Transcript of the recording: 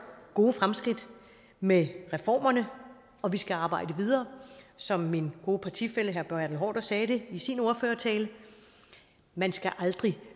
gode fremskridt med reformerne og vi skal arbejde videre som min gode partifælle herre bertel haarder sagde det i sin ordførertale man skal aldrig